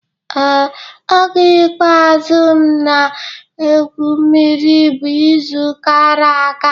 Ee, oge ikpeazụ m na-egwu mmiri bụ izu gara aga